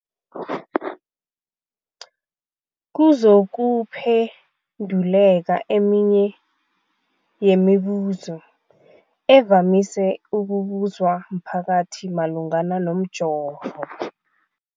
Kuzokuphenduleka eminye yemibuzo evamise ukubuzwa mphakathi malungana nomjovo.